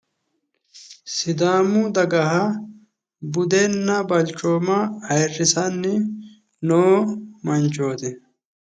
Sidaamu daga budenna balchioma ayyirsanni noo manchooti